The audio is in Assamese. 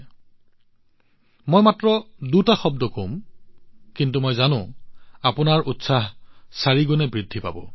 এইটো কি জানি লওক মই মাত্ৰ দুটা শব্দ কম কিন্তু মই জানো আপোনাৰ উৎসাহ চাৰিগুণ বেছি বৃদ্ধি হব